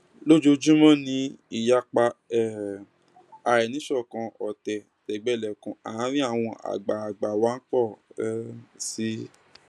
lójoojúmọ ni ìyapa um àìníṣọkan ọtẹ tẹgbẹlẹkun àárín àwọn àgbààgbà wá ń pọ um sí i